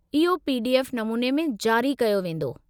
इहो पीडीएफ नमूने में जारी कयो वींदो.